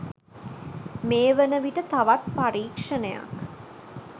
මේ වනවිට තවත් පරීක්ෂණයක්